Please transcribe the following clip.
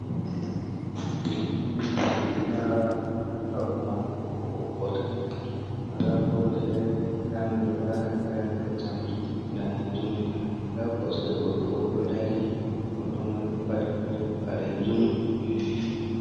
Ɗo'o ɗum fulaawa, ndaa haako mai ɓokko-ɓokko tan wala kolo feere, ndaaa mi ɗo laara haa gaa’en ɗo jamɗe daneejum ndaa kosɗe goɗɗo o ɗo dari, godydo mai ɗo paɗi paɗe baleejum.